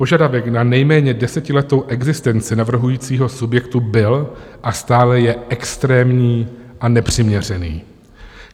Požadavek na nejméně desetiletou existenci navrhujícího subjektu byl a stále je extrémní a nepřiměřený.